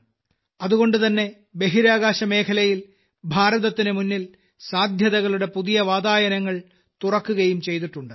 അതുകൊണ്ടുതന്നെ ബഹിരാകാശമേഖലയിൽ ഭാരതത്തിന് മുമ്പിൽ സാദ്ധ്യതകളുടെ പുതിയ വാതായനങ്ങൾ തുറക്കുകയും ചെയ്തിട്ടുണ്ട്